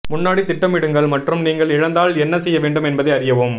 முன்னாடி திட்டமிடுங்கள் மற்றும் நீங்கள் இழந்தால் என்ன செய்ய வேண்டும் என்பதை அறியவும்